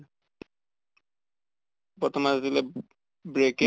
প্ৰথমে মাৰি দিলে bracket